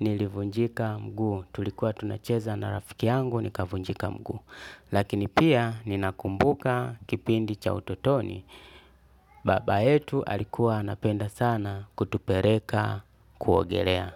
nilivunjika mguu, tulikuwa tunacheza na rafiki yangu nikavunjika mguu. Lakini pia ninakumbuka kipindi cha ututoni, baba yetu alikuwa anapenda sana kutupereka kuogelea.